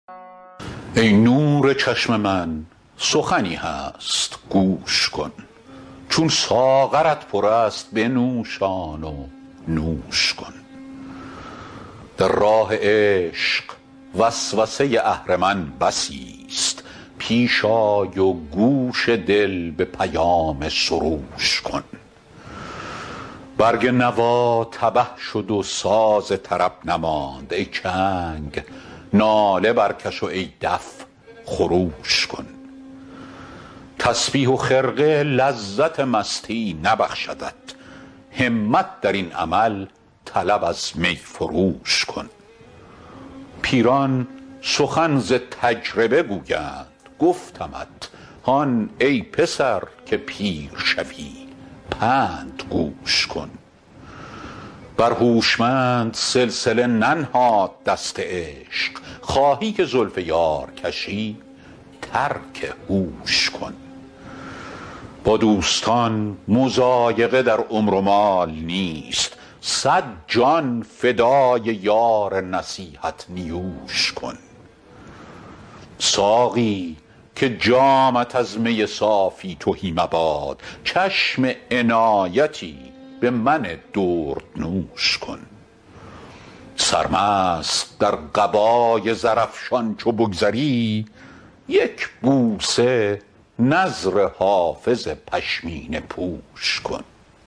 ای نور چشم من سخنی هست گوش کن چون ساغرت پر است بنوشان و نوش کن در راه عشق وسوسه اهرمن بسیست پیش آی و گوش دل به پیام سروش کن برگ نوا تبه شد و ساز طرب نماند ای چنگ ناله برکش و ای دف خروش کن تسبیح و خرقه لذت مستی نبخشدت همت در این عمل طلب از می فروش کن پیران سخن ز تجربه گویند گفتمت هان ای پسر که پیر شوی پند گوش کن بر هوشمند سلسله ننهاد دست عشق خواهی که زلف یار کشی ترک هوش کن با دوستان مضایقه در عمر و مال نیست صد جان فدای یار نصیحت نیوش کن ساقی که جامت از می صافی تهی مباد چشم عنایتی به من دردنوش کن سرمست در قبای زرافشان چو بگذری یک بوسه نذر حافظ پشمینه پوش کن